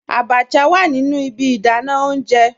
Àbàchà wà nínu ìbí ìdánà ọ̀unjẹ